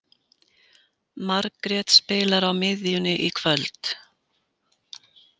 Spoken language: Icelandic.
Margrét spilar á miðjunni í kvöld.